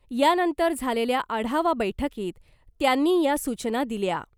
यानंतर झालेल्या आढावा बैठकीत त्यांनी या सूचना दिल्या .